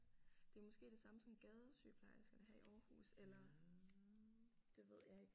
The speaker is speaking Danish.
Det er måske det samme som gadesygeplejerskerne her i Aarhus eller det ved jeg ikke